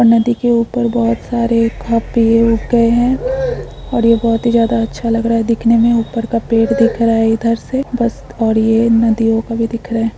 नदी के ऊपर बहोत सारे पेड़ उग गए है और ये बहोत ही ज्यादा अच्छा लग रहा है देखने में ऊपर का पेड़ दिख रहा है इधर से बस और ये नदियों का भी दिख रहा है।